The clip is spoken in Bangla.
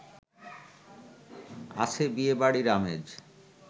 আছে বিয়েবাড়ির আমেজ